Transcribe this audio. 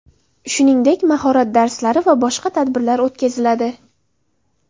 Shuningdek, mahorat darslari va boshqa tadbirlar o‘tkaziladi.